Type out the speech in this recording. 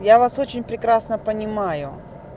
я вас очень прекрасно понимаю